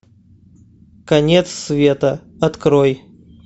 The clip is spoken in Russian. конец света открой